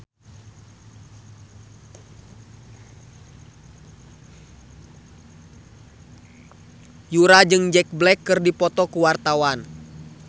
Yura jeung Jack Black keur dipoto ku wartawan